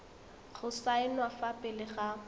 go saenwa fa pele ga